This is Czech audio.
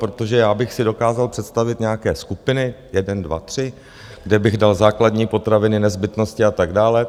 Protože já bych si dokázal představit nějaké skupiny jeden dva tři, kde bych dal základní potraviny, nezbytnosti a tak dále.